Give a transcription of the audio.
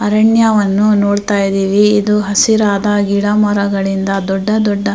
ಅರಣ್ಯವನ್ನ ನೋಡುಡ್ಥೈದ್ದೀವಿ ಇದು ಹಸಿರಾಧ ಗಿಡಮರಗಳಿಂದ ದೊಡ್ಡ ದೊಡ್ಡ --